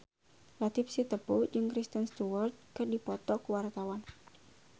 Latief Sitepu jeung Kristen Stewart keur dipoto ku wartawan